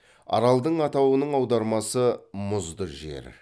аралдың атауының аудармасы мұзды жер